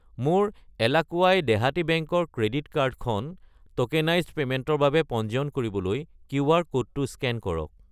মোৰ এলাকুৱাই দেহাতী বেংক ৰ ক্ৰেডিট কাৰ্ড কাৰ্ডখন ট'কেনাইজ্ড পে'মেণ্টৰ বাবে পঞ্জীয়ন কৰিবলৈ কিউআৰ ক'ডটো স্কেন কৰক।